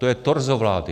To je torzo vlády.